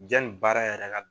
Janni baara yɛrɛ ka